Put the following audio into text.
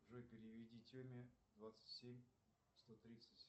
джой переведи теме двадцать семь сто тридцать